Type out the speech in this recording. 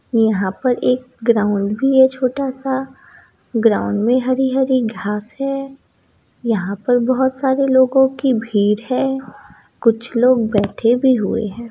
यहां पर एक ग्राउंड भी है छोटा सा ग्राउंड में हरी हरी घास है यहां पे बहोत सारे लोगो की भीड़ है कुछ लोग बैठे भी हुए है।